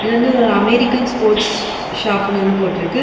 இது வந்து ஒரு அமெரிக்கன் ஸ்போர்ட்ஸ் ஷாப்ன்னு வந்து போட்ருக்கு.